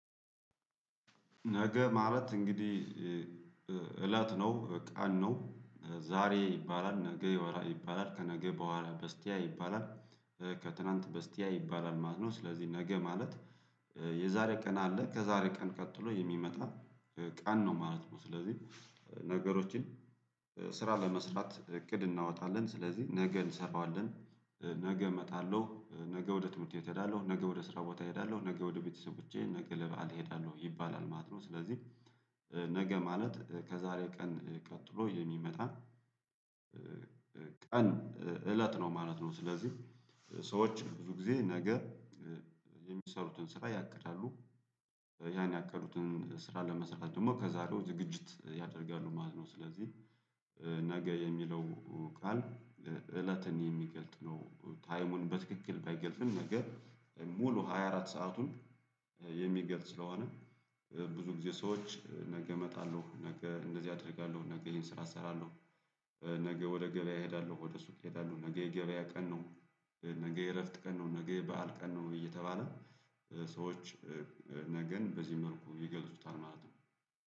ነገ ማለት እንግዲህ እለት ነው ቀን ነው። ዛሬ ይባላል ነገ ይባላል ከነገ በኋላ በስቲያ ይባላል ከትላንት በስቲያ ይባላል ማለት ነው። ስለዚህ ነገ ማለት የዛሬ ቀን አለ ከዛሬ ቀን ቀጥሎ የሚመጣ ቀን ነው ማለት ነው። ስለዚህ ነገሮችን ስራ ለመስራት እቅድ እናወጣለን ስለዚህ ነገ እንሰራዋለን። ነገ እመጣለሁ ነገ ወደ ትምህርት ቤት እሄዳለሁ ነገ ወደ ስራ ቦታ እሄዳለሁ ነገ ወደ ቤተሰቦቼ ነገ ለባዓል እሄዳለሁ ይባላል ማለት ነው። ስለዚህ ነገ ማለት ከዛሬ ቀን ቀጥሎ የሚመጣ ቀን እለት ነው ማለት ነው። ስለዚህ ሰዎች ብዙ ጊዜ ነገ የሚሰሩትን ስራ ያቅዳሉ። ያን ያቀዱትን ስራ ለመስራት ደግሞ ከዛሬው ዝግጅት ያደርጋሉ ማለት ነው። ስለዚህ ነገ የሚለው ቃል እለትን የሚገልጥ ነው ታይሙን በትክክል ባይገልጥም ነገር ሙሉ ሃያ አራት ሰአቱን የሚገልጽ ስለሆነ። ብዙ ጊዜ ሰዎች ነገ እመጣለሁ ነገ እንደዚህ አደርጋለሁ ነገ ይሄን ስራ እሰራለሁ። ነገ ወደ ገበያ እሄዳለሁ ወደ ሱቅ እሄዳለሁ ነገ የገበያ ቀን ነው። ነገ የእረፍት ቀን ነው ነገ የበአል ቀን ነው። እየተባለ ሰዎች ነገን በዚህ መልኩ ይገልጹታል ማለት ነው